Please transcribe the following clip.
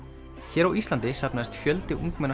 hér á Íslandi safnaðist fjöldi ungmenna